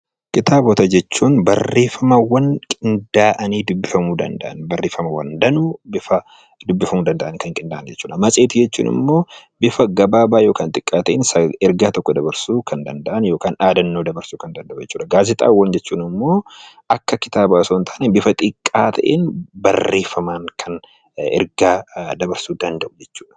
Kitaabota jechuun barreeffamoota qindaa'anii dubbifamuu danda'an , matseetii jechuun immoo bifa gabaabaa ta'een ergaa tokko kan dabarsuu kan danda'an gaazexaawwan jechuun immoo akka kitaabaa jechuun immoo bifa xiqqaa ta'een barreeffamaan kan ergaa dabarsuu danda'u jechuudha.